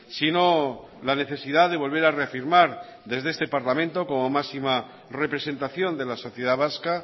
sino la necesidad de volver a reafirmar desde este parlamento como máxima representación de la sociedad vasca